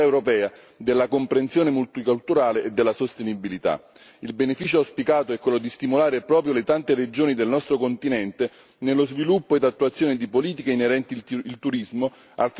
Il beneficio auspicato è quello di stimolare proprio le tante regioni del nostro continente nello sviluppo ed attuazione di politiche inerenti al turismo, al fine di generare solida occupazione, PIL e benefici per le PMI.